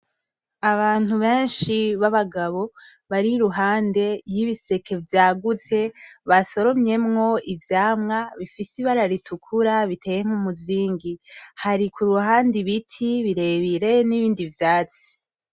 Abantu benshi babagabo bari ruhande yibiseke vyagutse basoromyemo ivyama bifise ibara ritukura biteye nkumuzingi. Hari kuruhande ibiti birebire nibindi vyatsi.